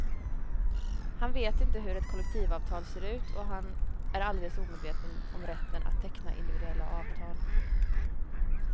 Han vet inte hur ett kollektivavtal ser ut och han är alldeles omedveten om rätten att teckna individuella avtal.